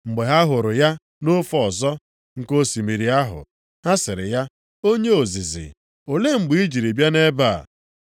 Mgbe ha hụrụ ya nʼofe ọzọ nke osimiri ahụ, ha sịrị ya, “Onye ozizi, olee mgbe i jiri bịa nʼebe a?”